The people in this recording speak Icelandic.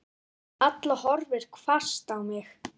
Halla horfði hvasst á mig.